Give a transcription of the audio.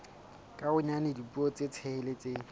ka bonyane dipuo tse tsheletseng